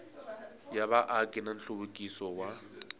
ya vaaki na nhluvukiso wa